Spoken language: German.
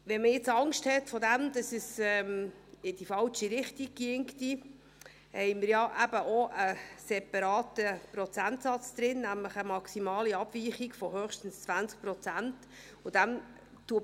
Wenn man nun Angst davor hat, es würde in die falsche Richtung gehen, haben wir ja eben auch einen separaten Prozentsatz drin, nämlich eine maximale Abweichung von höchstens 20 Prozent.